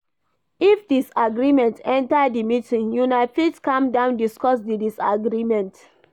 If disagreement enter di meeting, una fit calm down discuss di disagreement